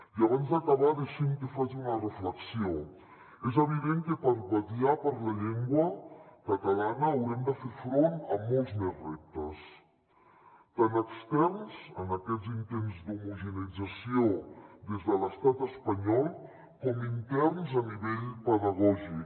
i abans d’acabar deixin me que faci una reflexió és evident que per vetllar per la llengua catalana haurem de fer front a molts més reptes tant externs en aquests intents d’homogeneïtzació des de l’estat espanyol com interns a nivell pedagògic